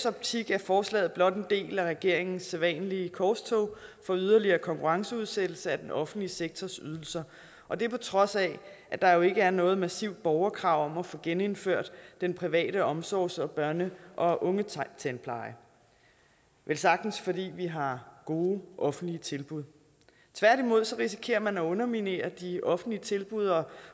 optik er forslaget blot en del af regeringens sædvanlige korstog for yderligere konkurrenceudsættelse af den offentlige sektors ydelser og det er på trods af at der jo ikke er noget massivt borgerkrav om at få genindført den private omsorgs og børn og unge tandpleje velsagtens fordi vi har gode offentlige tilbud tværtimod risikerer man at underminere de offentlige tilbud og